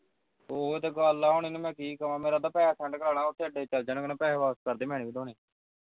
ਉਹ ਤੇ ਗੱਲ ਆ ਇਹਨੂੰ ਮੈਂ ਕੀ ਕਵਾਂ ਮੇਰੇ ਤਾਂ ਘਾਟੇ ਵਿਚ ਚਲ ਜਾਣਾ ਮੈਂ ਪੈਹੇ ਵਾਪਸ ਕਰਦੇ ਮੈਂ ਨੀ ਵਧਾਉਦੇਂ